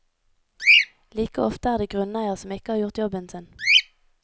Like ofte er det grunneier som ikke har gjort jobben sin.